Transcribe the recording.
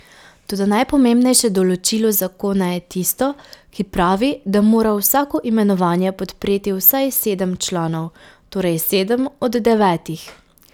Toda najpomembnejše določilo zakona je tisto, ki pravi, da mora vsako imenovanje podpreti vsaj sedem članov, torej sedem od devetih.